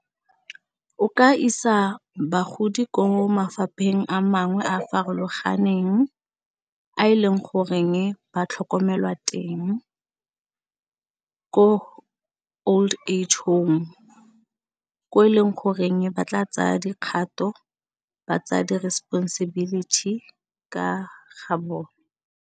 O ka isa bagodi ko mafapheng a mangwe a a farologaneng a e leng goreng ba tlhokomelwa teng ko old age home, ko e leng goreng ba tla tsaya dikgato, ba tsaya di responsibility ka ga bone.